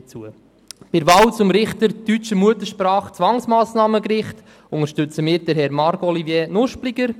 Bei der Wahl zum Richter deutscher Muttersprache für das Zwangsmassnahmengericht unterstützen wir Herrn Marc-Olivier Nuspliger.